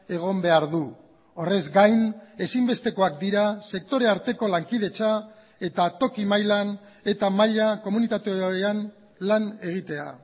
egon behar du horrez gain ezinbestekoak dira sektore arteko lankidetza eta toki mailan eta maila komunitatean lan egitea